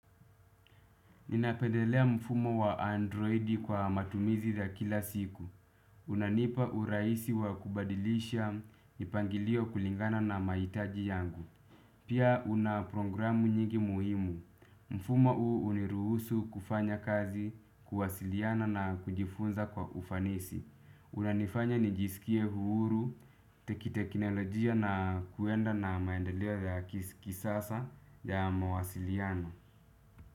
Ninapendelea mfumo wa androidi kwa matumizi ya kila siku. Unanipa urahisi wa kubadilisha mipangilio kulingana na mahitaji yangu. Pia una programu nyingi muhimu. Mfumo huu huniruhusu kufanya kazi, kuwasiliana na kujifunza kwa ufanisi. Unanifanya nijisikie uhuru, teki teknolojia na kuenda na maendelea ya kisasa ya mawasiliana.